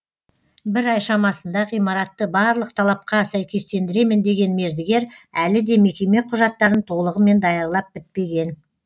бір ай шамасында ғимаратты барлық талапқа сәйкестендіремін деген мердігер әлі де мекеме құжаттарын толығымен даярлап бітпеген